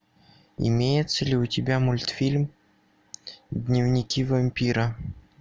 имеется ли у тебя мультфильм дневники вампира